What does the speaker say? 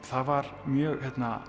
það var mjög